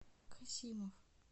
касимов